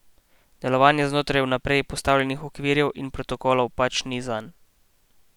Delovanje znotraj vnaprej postavljenih okvirjev in protokolov pač ni zanj.